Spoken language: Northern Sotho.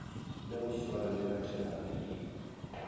le go swarelela terapi e